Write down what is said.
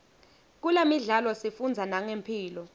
kulemidlalo sifundza nangemphilo